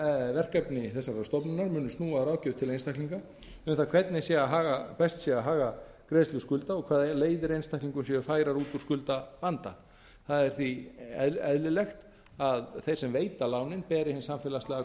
verkefni þessarar stofnunar munu snúa að ráðgjöf til einstaklinga um það hvernig best sé að haga greiðslu skulda og hvaða leiðir einstaklingum séu færar út úr skuldavanda það er því eðlilegt að þeir sem veita lánin beri hinn samfélagslega